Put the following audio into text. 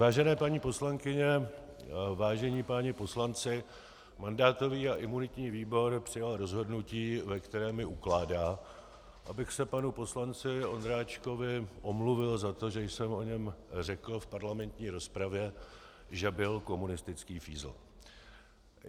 Vážené paní poslankyně, vážení páni poslanci, mandátový a imunitní výbor přijal rozhodnutí, ve kterém mi ukládá, abych se panu poslanci Ondráčkovi omluvil za to, že jsem o něm řekl v parlamentní rozpravě, že byl komunistický fízl.